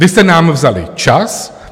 Vy jste nám vzali čas.